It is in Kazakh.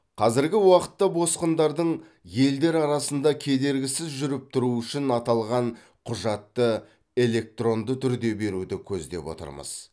қазіргі уақытта босқындардың елдер арасында кедергісіз жүріп тұруы үшін аталған құжатты электронды түрде беруді көздеп отырмыз